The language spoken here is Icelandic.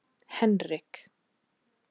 Henrik